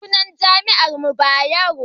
sunan jami'ar mu Bayero ne